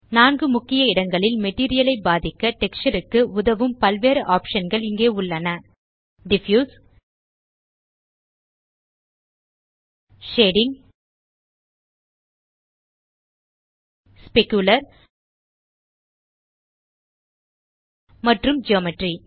நான்கு முக்கிய இடங்களில் மெட்டீரியல் ஐ பாதிக்க டெக்ஸ்சர் க்கு உதவும் பல்வேறு ஆப்ஷன் கள் இங்கே உள்ளன டிஃப்யூஸ் ஷேடிங் ஸ்பெக்குலர் மற்றும் ஜியோமெட்ரி